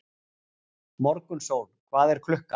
Morgunsól, hvað er klukkan?